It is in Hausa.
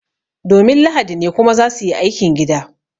Domin lahadi ne kuma za su yi aikin gida